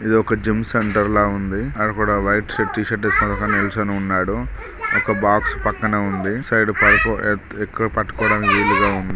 ఇది ఒక gym centre ల ఉంది అక్కడ ఒక వైట్ టీషర్ట్ వేసుకుని నిల్చుని ఉన్నాడు ఒక బాక్స్ పక్కన ఉంది ఇటు సైడ్ పడుకో ఇక్కడ పట్టుకోడానికి వీలు గా ఉం --